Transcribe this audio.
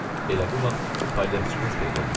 Elə bu vaxt palyaçıqaz peyda olmuşdu.